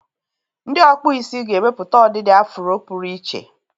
Ndị ọkpụ isi ga-emepụta ọdịdị afụro pụrụ iche.